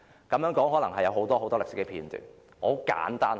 這當中可能有很多歷史片段，我簡單地說。